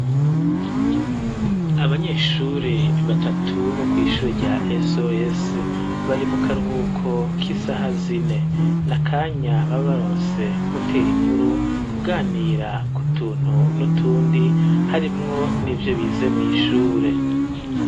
Abanyeshuri batatu bo kwishure rya sos bari mu karuhuko k'isaha zine, n'akanya baba baronse ko gutera inkuru kuganira kutuntu n'utundi harimwo n'ivyo bize mwishure.